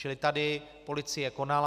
Čili tady policie konala.